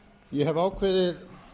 ég hef ákveðið